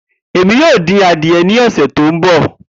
Emi yoo din adiẹ ni ọsẹ to nbọ.